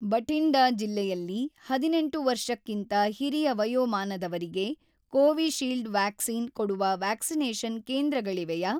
ಬಠಿಂಡಾ ಜಿಲ್ಲೆಯಲ್ಲಿ ಹದಿನೆಂಟು ವರ್ಷಕ್ಕಿಂತ ಹಿರಿಯ ವಯೋಮಾನದವರಿಗೆ ಕೋವಿಶೀಲ್ಡ್ ವ್ಯಾಕ್ಸಿನ್‌ ಕೊಡುವ ವ್ಯಾಕ್ಸಿನೇಷನ್‌ ಕೇಂದ್ರಗಳಿವೆಯಾ